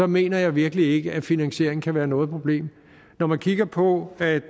mener jeg virkelig ikke at finansieringen kan være noget problem når man kigger på at